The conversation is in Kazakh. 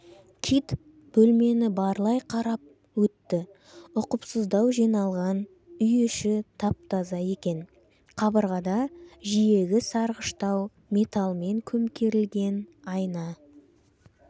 кит бөлмені барлай қарап өтті ұқыпсыздау жиналған үй-іші тап-таза екен қабырғада жиегі сарғыштау металмен көмкерілген айна